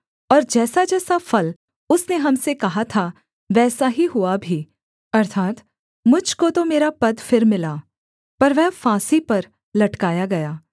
और जैसाजैसा फल उसने हम से कहा था वैसा ही हुआ भी अर्थात् मुझ को तो मेरा पद फिर मिला पर वह फांसी पर लटकाया गया